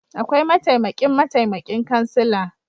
Aƙwai mataimaƙin mataimaƙin ƙansila